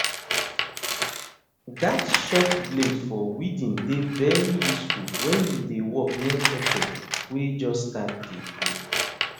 that short blade for weeding dey very useful when you dey work near pepper wey just start de grow